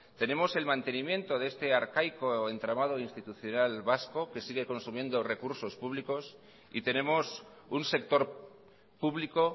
tenemos el mantenimiento de este arcaico entramado institucional vasco que sigue consumiendo recursos públicos y tenemos un sector público